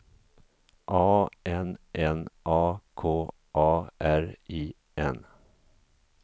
A N N A K A R I N